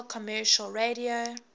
national commercial radio